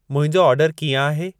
मुंहिंजो ऑडरु कींअ आहे